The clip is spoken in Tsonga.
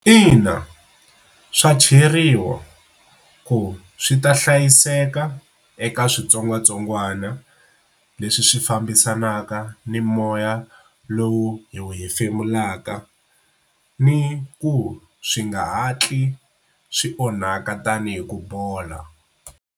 Ina, swa cheriwa ku swi ta hlayiseka eka switsongwatsongwana leswi swi fambisanaka ni moya lowu hi wu hefemulaka ni ku swi nga hatli swi onhaka tanihi ku bola.